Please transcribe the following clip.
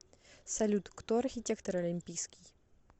салют кто архитектор олимпийский